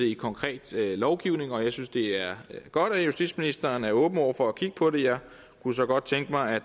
i konkret lovgivning og jeg synes det er godt at justitsministeren er åben over for at kigge på det jeg kunne så godt tænke mig